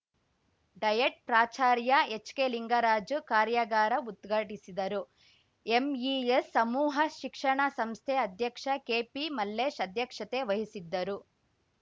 diet ಪ್ರಾಚಾರ್ಯ ಹೆಚ್‌ಕೆಲಿಂಗರಾಜು ಕಾರ್ಯಾಗಾರ ಉದ್ಘಾಟಿಸಿದರು ಎಂಇಎಸ್‌ ಸಮೂಹ ಶಿಕ್ಷಣ ಸಂಸ್ಥೆ ಅಧ್ಯಕ್ಷ ಕೆಪಿಮಲ್ಲೇಶ್‌ ಅಧ್ಯಕ್ಷತೆ ವಹಿಸಿದ್ದರು